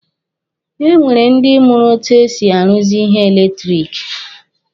E nwere ndi mụrụ etu e si aruzi ihe eletiriki.